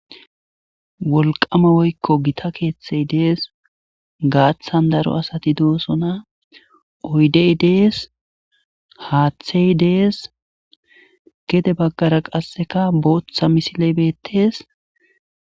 Wolqame woykko gita keeththey dees. Gaaththan daro asati doosona. Oyiddey dees. Haaththey dees. Gede baggara qasseka booththa misile bettees.